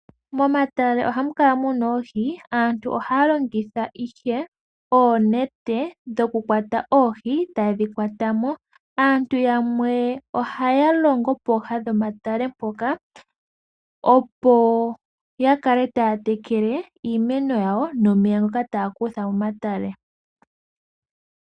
Momatale oha mu kala muna oohi. Aantu oha ya longitha ihe oonete dho ku kwata oohi, ee ta ye dhi kwata mo.. Aantu yamwe oha ya longo pooha dhomatale mpoka, opo ya kale ta ya tekele iimeno yawo nomeya ngoka ta ya kutha momatale.